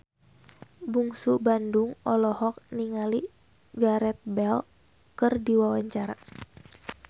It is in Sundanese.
Bungsu Bandung olohok ningali Gareth Bale keur diwawancara